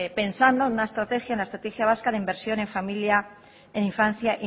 pensando en una estrategia la estrategia vasca de inversión en familia en infancia